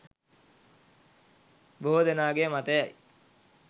බොහෝ දෙනාගේ මතයයි